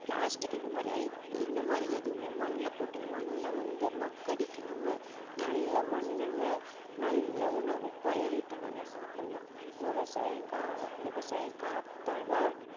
plastic இந்த மாதிரி ஐ~ இந்த மாதிரி எதுவுமே மண்ணுல போட்டு மண்ணை வந்து மக்கடிக்காம நல்ல மண்ணுல நல்ல உணவ பயிரிட்டு நம்ம சாப்பிடலாம் விவசாயம் கா~ விவசாயம் காத்தால்தான்